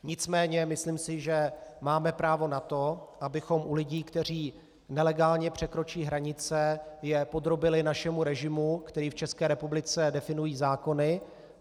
Nicméně myslím si, že máme právo na to, abychom u lidí, kteří nelegálně překročí hranice, je podrobili našemu režimu, který v České republice definují zákony.